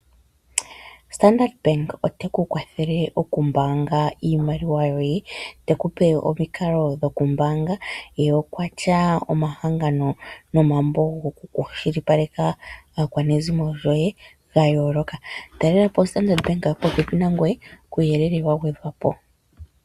Standard Bank ote kukwathele okumbaanga iimaliwa yoye, teku pe omikalo dhoku mbaanga. Ye okwatya omahangano nomambo gokukwashilipaleka aakwanezimo yoye ga yooloka. Taalela po oStandard Bank popepi nangoye kuuyele wa gwedhwa po.